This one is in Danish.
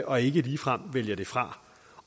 og ikke ligefrem vælger det fra